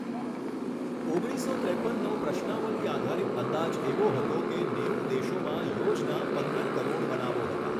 ઓગણીસો ત્રેપનનો પ્રશ્નાવલિ આધારિત અંદાજ એવો હતો કે નેવું દેશોમાં યૉઝના પંદર કરોડ બનાવો હતા.